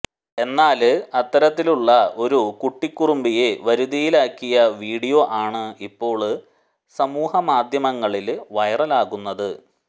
എന്നാല് അത്തരത്തിലുള്ള ഒരു കുട്ടികുറുമ്പിയെ വരുതിയിലാക്കിയ വീഡിയോ ആണ് ഇപ്പോള് സമൂഹമാധ്യമങ്ങളില് വൈറലാകുന്നത്